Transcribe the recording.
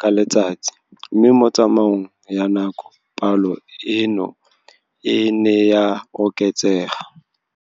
ka letsatsi, mme mo tsamaong ya nako palo eno e ne ya oketsega.